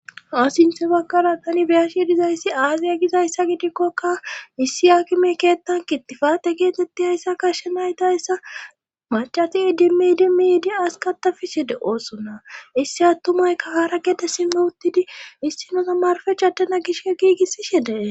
asinte bagkala tani beyashe dizayssi aaziya gizayssa gidikkoka issi akime keettan kittifate geetetti ayssa kashshe naytayssa macati idimidi midi askatafishede oosona issi attumaykka haara gede simme uttidi issinosamarfech adana gishke giigissishedee